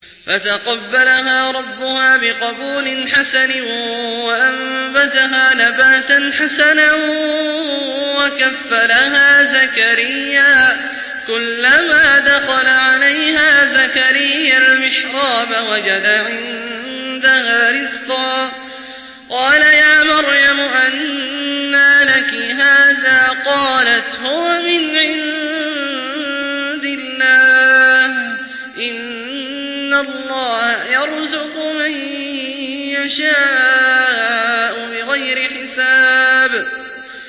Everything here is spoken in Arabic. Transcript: فَتَقَبَّلَهَا رَبُّهَا بِقَبُولٍ حَسَنٍ وَأَنبَتَهَا نَبَاتًا حَسَنًا وَكَفَّلَهَا زَكَرِيَّا ۖ كُلَّمَا دَخَلَ عَلَيْهَا زَكَرِيَّا الْمِحْرَابَ وَجَدَ عِندَهَا رِزْقًا ۖ قَالَ يَا مَرْيَمُ أَنَّىٰ لَكِ هَٰذَا ۖ قَالَتْ هُوَ مِنْ عِندِ اللَّهِ ۖ إِنَّ اللَّهَ يَرْزُقُ مَن يَشَاءُ بِغَيْرِ حِسَابٍ